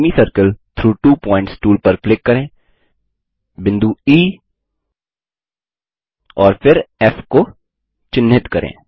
semicircle through two points tool पर click करें बिंदु ई और फिर फ़ को चिन्हित करें